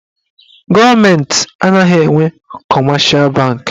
Gọọmenti anaghị enwe kọmeshal banki.